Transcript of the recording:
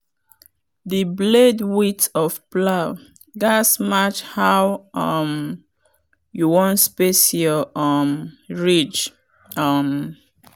the blade width of plow gatz match how um you wan space your um ridge. um